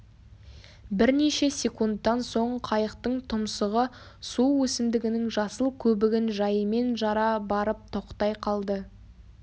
бірнеше секундтан соң қайықтың тұмсығы су өсімдігінің жасыл көбігін жайымен жара барып тоқтай қалды